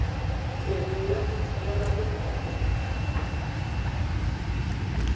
mmele ya go thibela megare